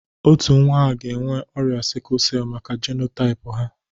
Otu nwa ha ga-enwe ọrịa sikul sell maka jenotaịp ha.